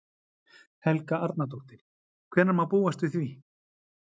Helga Arnardóttir: Hvenær má búast við því?